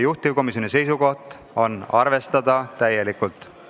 Juhtivkomisjoni otsus on arvestada seda täielikult.